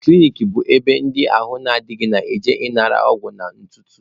Klinik bụ ebe ndị ahụ adịghị na-eje anara ọgwụ na ntụtụ.